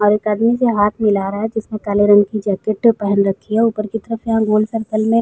और एक आदमी से हाथ मिला रहा है जिसने काले रंग की जैकेट पहन रखी है। ऊपर की तरफ यहाँ गोल सर्कल में --